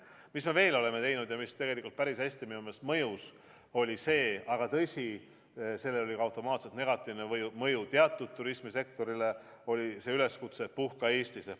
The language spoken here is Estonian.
Mis me veel oleme teinud ja mis tegelikult päris hästi minu meelest mõjus – aga tõsi, sellel oli ka automaatselt negatiivne mõju teatud turismisektorile –, oli üleskutse "Puhka Eestis!